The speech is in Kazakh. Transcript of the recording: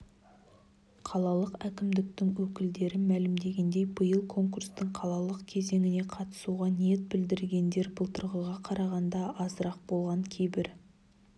қалалық әкімдіктің өкілдері мәлімдегендей биыл конкурстың қалалық кезеңіне қатысуға ниет білдіргендер былтырғыға қарағанда азырақ болған кейбір